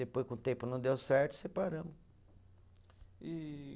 Depois, com o tempo, não deu certo, separamos. E